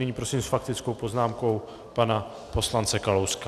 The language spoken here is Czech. Nyní prosím s faktickou poznámkou pana poslance Kalouska.